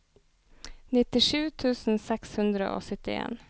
nittisju tusen seks hundre og syttien